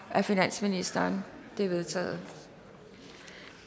af finansministeren de er vedtaget